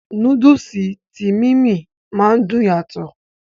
Núdùùsì tí "Mimie" ma dùn yàtọ̀.